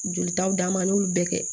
Jolitaw d'an ma an y'olu bɛɛ kɛ